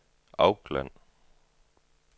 Auckland